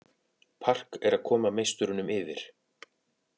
Park er að koma meisturunum yfir